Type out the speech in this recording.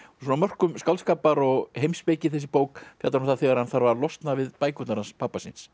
svona á mörkum skáldskapar og heimspeki þessi bók fjallar um það þegar hann þarf að losna við bækurnar hans pabba síns